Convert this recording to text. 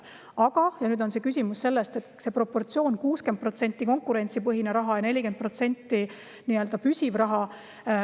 Aga nüüd on küsimus selles proportsioonis, et 60% on konkurentsipõhine ja 40% nii-öelda püsiv raha.